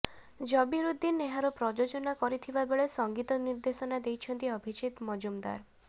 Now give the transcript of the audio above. ଜବିରୁଦ୍ଦିନ ଏହାର ପ୍ରଯୋଜନା କରିଥିବା ବେଳେ ସଙ୍ଗୀତ ନିର୍ଦ୍ଦେଶନା ଦେଇଛନ୍ତି ଅଭିଜିତ ମଜୁମଦାର